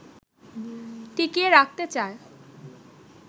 টিকিয়ে রাখতে চায়